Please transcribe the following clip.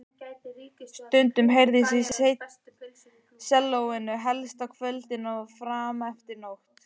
Stundum heyrðist í sellóinu, helst á kvöldin og frameftir nóttu.